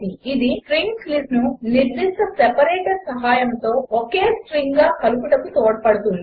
ఇది స్ట్రింగ్స్ లిస్ట్ను నిర్దిష్ట సెపరేటర్ సహాయముతో ఒకే స్ట్రింగ్గా కలుపుటకు తోడ్పడుతుంది